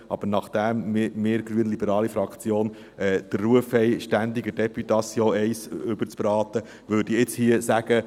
Aber nachdem wir grünliberale Fraktion den Ruf haben, ständig der Députation eins überzubraten, würde ich jetzt hier sagen: